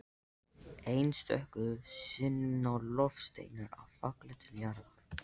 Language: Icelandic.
Einstöku sinnum ná loftsteinar að falla til jarðar.